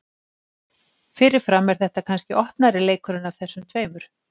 Fyrirfram er þetta kannski opnari leikurinn af þessum tveimur.